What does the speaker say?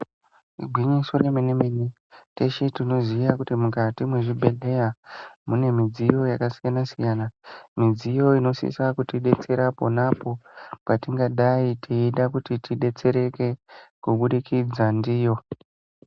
Igwinyiso re mene mene teshe tinoziya kuti mukati mwe zvi bhedhleya mune midziyo yaka siyana siyana midziyo ino sisa kutidetsera ponapo patingadai teida kuti tidetsereke kubudikidza ndiyo.